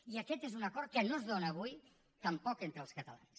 i aquest és un acord que no es dóna avui tampoc entre els catalans